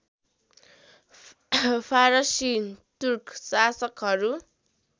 फारसी तुर्क शासकहरू